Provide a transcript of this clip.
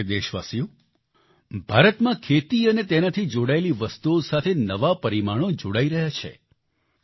મારા પ્રિય દેશવાસીઓ ભારતમાં ખેતી અને તેનાથી જોડાયેલી વસ્તુઓ સાથે નવા પરિમાણો જોડાઈ રહ્યા છે